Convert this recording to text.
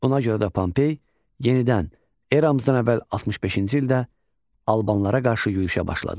Buna görə də Pompey yenidən eramızdan əvvəl 65-ci ildə albanlara qarşı yürüşə başladı.